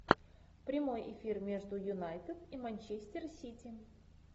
прямой эфир между юнайтед и манчестер сити